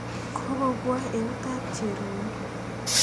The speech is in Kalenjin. Koko pwaa eut ap Cherono.